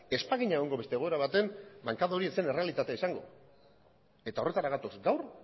ez bagina beste egoera batean egongo bankada hori ez zen errealitatea izango eta horretara gatoz gaur